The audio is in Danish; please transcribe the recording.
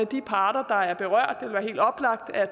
de parter der er berørt det ville være helt oplagt at